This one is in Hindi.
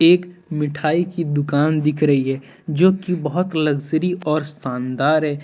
एक मिठाई की दुकान दिख रही है जो कि बहुत लग्जरी और शानदार है।